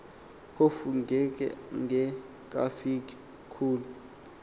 phofu engekafiki kulo